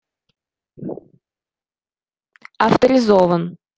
авторизован